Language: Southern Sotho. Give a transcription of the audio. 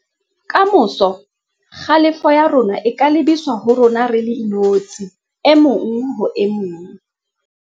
Ka moso, kgalefo ya rona e ka lebiswa ho rona re le inotshi e mong ho e mong.